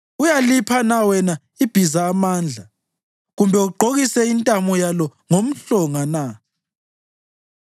Uyalipha na wena ibhiza amandla kumbe ugqokise intamo yalo ngomhlonga na?